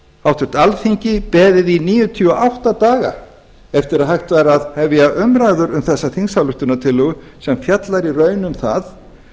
háttvirtu alþingi beðið í níutíu og átta daga eftir að hægt væri að hefja umræður um þessa þingsályktunartillögu sem fjallar í raun um það